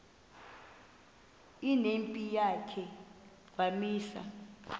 nempi yakhe wamisa